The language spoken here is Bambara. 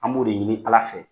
An b'o de ɲini Ala fɛ.